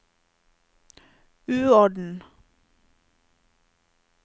uorden